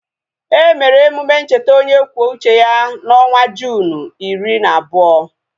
Emere emume ncheta onye kwuo uche ya na onwa Juunu iri na abụọ